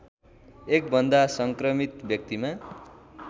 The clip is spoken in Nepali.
एकभन्दा संक्रमित व्यक्तिमा